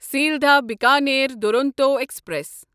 Sealdah Bikaner Duronto express